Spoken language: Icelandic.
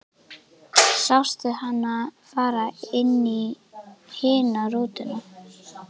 Sástu hana fara inn í hina rútuna?